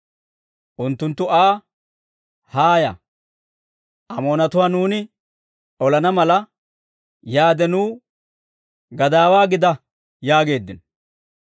Unttunttu Aa, «Haaya, Amoonatuwaa nuuni olana mala, yaade nuw gadaawaa gida» yaageeddino.